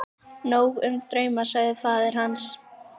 Nóg um drauma, sagði faðir hans.